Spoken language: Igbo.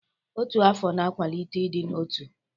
Ọtu afọ na-akwalite ịdị n'otu.